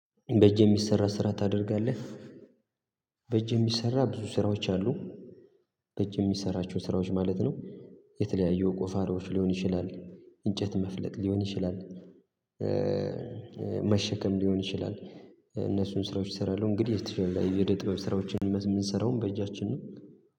በእጅ የሚሰራ ስራ ታደርጋለህ። በእጅ የሚሰራ ብዙ ስራዎች አሉ። በእጅ የሚሰራቸው ስራዎች ማለት ነው የተለያየው ቆፋሮዎች ሊሆን ይችላል እንጨት መፍለጥ ሊሆን ይችላል። መሸከም ሊሆን ይችላል። እነሱን ስራዎች እሰራለሁ የእደጥበብ የጥበብ ስራዎችን የምንሰራውም በእጃችን ነው